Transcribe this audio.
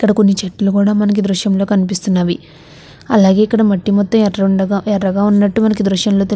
ఇక్కడ కొన్ని చెట్లు కూడా మనకి ఈ దృశ్యంలో కనిపిస్తున్నవి. అలాగే ఇక్కడ మట్టి మొత్తం ఎర్రుండగ ఎర్రగా ఉన్నట్టుగా మనకి ఈ దృశ్యంలో తెలు--